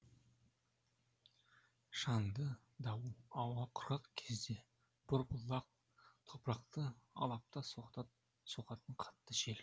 шаңды дауыл ауа құрғақ кезде борпылдақ топырақты алапта соғатын қатты жел